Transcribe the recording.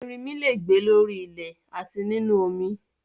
Ẹrinmi le è gbé lórí ilẹ̀ àti nínu omi